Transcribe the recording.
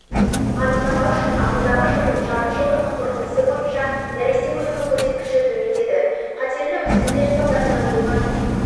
анықтама үшін ағымдағы жылдың жарты жылдығының қорытындысы бойынша нәресте өлімі көрсеткіші төмендеді қатерлі өскіндер салдарынан болған